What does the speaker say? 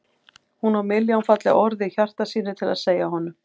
Hún á milljón falleg orð í hjarta sínu til að segja honum.